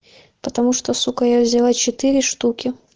потому что сука я взяла четыре штуки